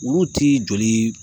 Ulu ti joli